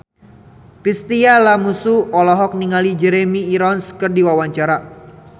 Chintya Lamusu olohok ningali Jeremy Irons keur diwawancara